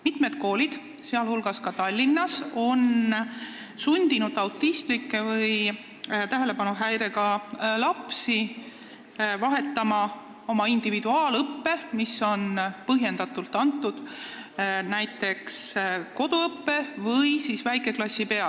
Mitmed koolid, sh Tallinnas, on sundinud autistlikke või tähelepanuhäirega lapsi vahetama oma individuaalõppe, mis on olnud põhjendatud, koduõppe või siis näiteks väikeklassi vastu.